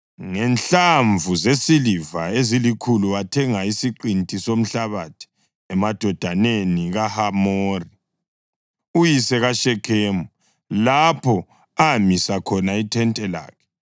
Ngenhlamvu zesiliva ezilikhulu wathenga isiqinti somhlabathi emadodaneni kaHamori, uyise kaShekhemu, lapho amisa khona ithente lakhe.